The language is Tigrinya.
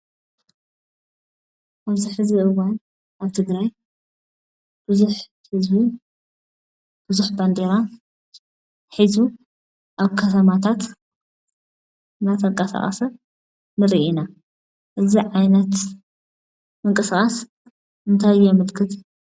አብዚ ሕዚ እዋን አብ ትግራይ ብዙሕ ህዝብን ብዙሕ ባንዴራን ሒዙ አብ ከተማታት ናተንቀሳቀሰ ንርኢ ኢና። እዚ ዓይነት ምንቅስቃስ እንታይ የመልክት?